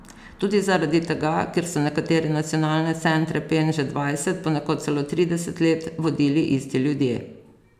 Tudi zaradi tega, ker so nekatere nacionalne centre Pen že dvajset, ponekod celo trideset let vodili isti ljudje.